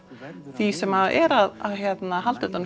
því sem er að halda utanum